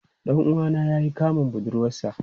Dan uwana ya yi kamun budurwarsa.